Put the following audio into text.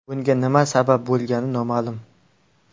Bunga nima sabab bo‘lgani noma’lum.